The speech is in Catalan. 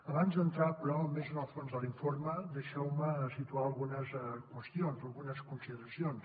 abans d’entrar però més en el fons de l’informe deixeu me situar algunes qüestions algunes consideracions